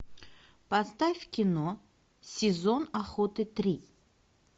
поставь кино сезон охоты три